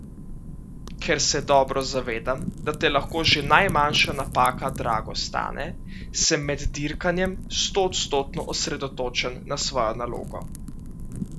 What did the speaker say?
Ker se dobro zavedam, da te lahko že najmanjša napaka drago stane, sem med dirkanjem stoodstotno osredotočen na svojo nalogo.